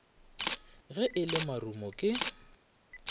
ge e le marumo ke